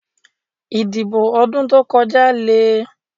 Ìdìbò ọdún tó kọjá lè.